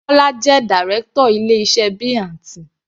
Bola jẹ́ Direction ilé iṣẹ́ B&T.